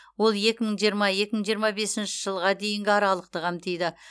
ол екі мың жиырма екі мың жиырма бесінші жылға дейінгі аралықты қамтиды